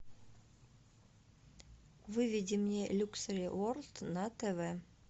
выведи мне люксери ворлд на тв